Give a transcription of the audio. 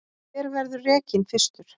Hver verður rekinn fyrstur?